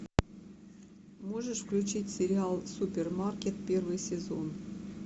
можешь включить сериал супермаркет первый сезон